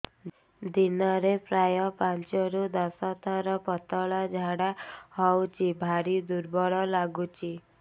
ଦିନରେ ପ୍ରାୟ ପାଞ୍ଚରୁ ଦଶ ଥର ପତଳା ଝାଡା ହଉଚି ଭାରି ଦୁର୍ବଳ ଲାଗୁଚି